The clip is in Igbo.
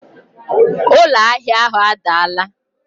Ụlọ ahịa ahụ adaala